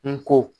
N ko